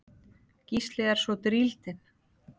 Gísli er svo drýldinn.